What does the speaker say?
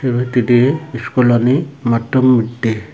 dw hittedi schoolani mattu modde.